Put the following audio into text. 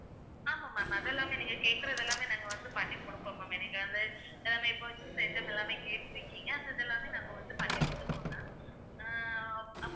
ஆமா ma'am அது எல்லாமே நீங்க கேக்குறது எல்லாமே நாங்க வந்து பண்ணி குடுப்போம் ma'am என்னைக்காவது இப்ப வந்து items எல்லாமே கேட்டுருக்கீங்க அதெல்லாமே நாங்க வந்து பண்ணி குடுத்துருக்கோம் ma'am ஹம் அப்புறம் வந்து